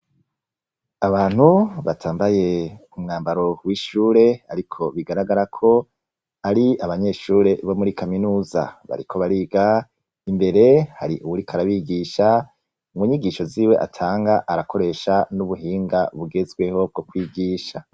Abantu batambaye umwanbaro w'ishure, ariko bigaragara ko ar'abanyeshure bo muri kaminuza bariko bariga, imbere har'uwuriko arabigisha, munyigisho ziwe atanga ,arakoresha n'ubuhinga bugezweho bwo kwigisha.